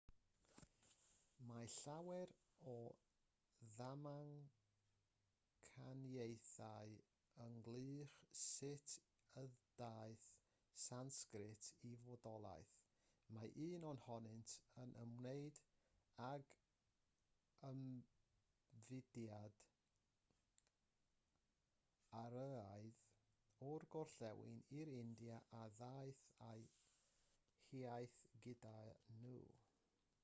mae llawer o ddamcaniaethau ynghylch sut y daeth sansgrit i fodolaeth mae un ohonynt yn ymwneud ag ymfudiad aryaidd o'r gorllewin i'r india a ddaeth â'u hiaith gyda hwy